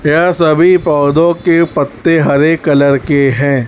यह सभी पौधों के पत्ते हरे कलर के हैं।